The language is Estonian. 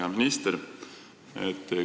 Hea minister!